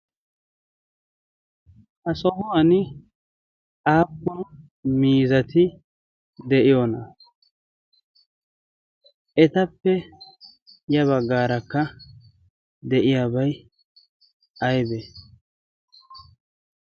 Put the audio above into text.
ha sohuwan aappun mizati de'iyoona etappe ya baggaarakka de'iyaabai aybee?